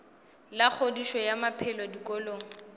la kgodišo ya maphelo dikolong